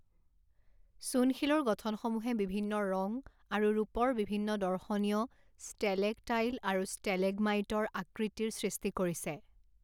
চূণশিলৰ গঠনসমূহে বিভিন্ন ৰং আৰু ৰূপৰ বিভিন্ন দৰ্শনীয় ষ্টেলেকটাইল আৰু ষ্টেলেগমাইটৰ আকৃতিৰ সৃষ্টি কৰিছে।